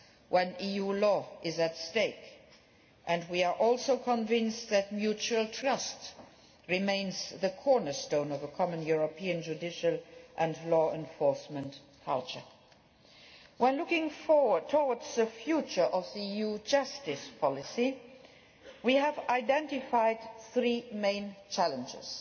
when EU law is at stake and we are also convinced that mutual trust remains the cornerstone of a common European judicial and law enforcement culture. While looking forward towards the future of EU justice policy we have identified three main challenges